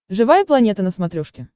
живая планета на смотрешке